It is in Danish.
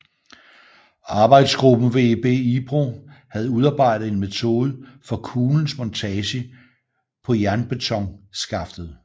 Arbejdsgruppen VEB Ipro havde udarbejdet en metode for kuglens montage på jernbetonskaftet